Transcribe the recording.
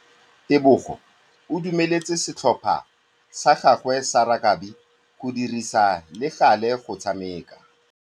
Tebogô o dumeletse setlhopha sa gagwe sa rakabi go dirisa le galê go tshameka.